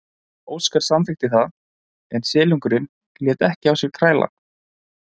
Óskar samþykkti það en silungurinn lét ekki á sér kræla.